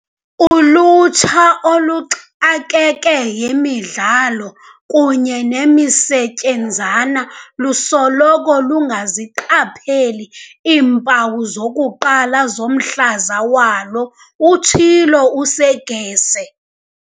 "Ulutsha, oluxakeke yimidlalo kunye nemisetyenzana, lusoloko lungaziqapheli iimpawu zokuqala zomhlaza walo," utshilo u-Seegers.